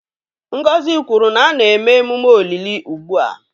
Ngozi kwuru na a na-eme emume olili ugbu a